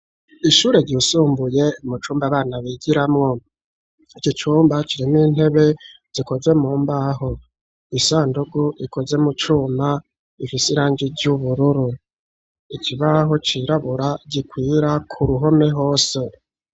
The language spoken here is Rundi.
ishure ryisumbuye mu cumba abana bigiramwo, ico cumba kirimowo intebe zikoze mu mbaho, isandugu ikoze mu cuma ifise irangi ry'ubururu, ikibaho cirabura gikwira ku ruhome hose.